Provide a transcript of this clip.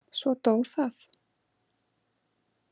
Svo dó það.